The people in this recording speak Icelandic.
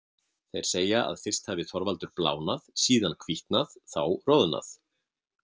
Þeir segja að fyrst hafi Þorvaldur blánað, síðan hvítnað, þá roðnað.